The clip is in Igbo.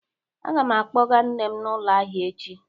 Aga m akpọga nne m n'ụlọ ahịa echi.